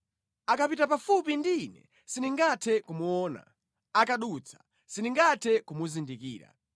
Akapita pafupi ndi ine sindingathe kumuona; akadutsa, sindingathe kumuzindikira.